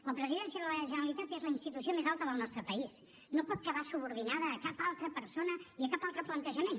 la presidència de la generalitat és la institució més alta del nostre país no pot quedar subordinada a cap altra persona i a cap altre plantejament